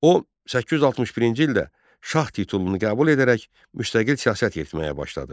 O 861-ci ildə şah titulunu qəbul edərək müstəqil siyasət yeritməyə başladı.